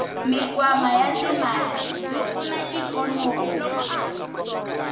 mikwama yatimale yipfuna ikonomi